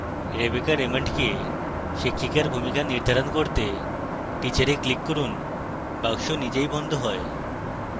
rebecca raymond কে শিক্ষিকার ভূমিকা নির্ধারণ করতে teacher এ click করুন